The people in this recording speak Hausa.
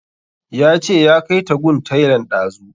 Ya ce ya kai ta gun tailan ɗazu